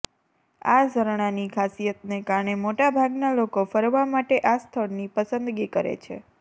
આ ઝરણાની ખાસિયતને કારણે મોટાભાગના લોકો ફરવા માટે આ સ્થળની પસંદગી કરે છે